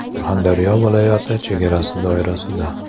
Surxondaryo viloyati chegarasi doirasida.